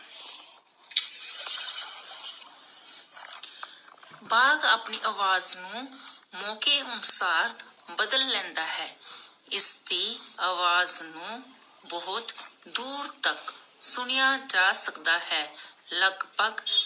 ਬਾਘ ਅਪਣੀ ਆਵਾਜ਼ ਨੂੰ ਮੌਕੇ ਅਨੁਸਾਰ ਬਦਲ ਲੈਂਦਾ ਹੈ, ਇਸਦੀ ਆਵਾਜ਼ ਨੂੰ ਬਹੁਤ ਦੂਰ ਤਕ ਸੁਣਿਆ ਜਾ ਸਕਦਾ ਹੈ. ਲੱਗਭਗ